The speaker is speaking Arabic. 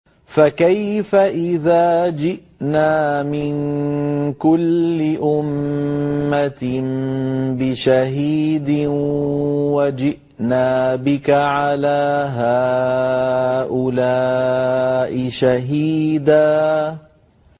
فَكَيْفَ إِذَا جِئْنَا مِن كُلِّ أُمَّةٍ بِشَهِيدٍ وَجِئْنَا بِكَ عَلَىٰ هَٰؤُلَاءِ شَهِيدًا